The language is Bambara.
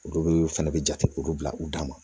Olu bɛ fɛnɛ bɛ jate olu bila u dan ma